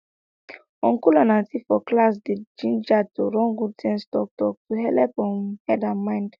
uncle and auntie for class dey gingered to run good sense talktalk to helep um head and mind